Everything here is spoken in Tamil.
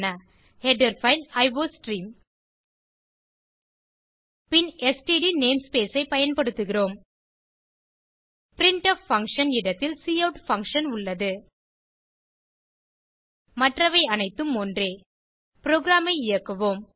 ஹெடர் பைல் அயோஸ்ட்ரீம் பின் ஸ்ட்ட் நேம்ஸ்பேஸ் ஐ பயன்படுத்துகிறோம் பிரின்ட்ஃப் பங்ஷன் இடத்தில் கவுட் பங்ஷன் உள்ளது மற்றவை அனைத்தும் ஒன்றே புரோகிராம் ஐ இயக்குவோம்